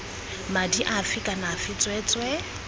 madi afe kana afe tsweetswee